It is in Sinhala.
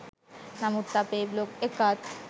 නමුත් අපේ බ්ලොග් එකත්